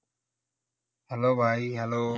hello ভাই hello